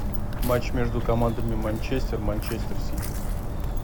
матч между командами манчестер манчестер сити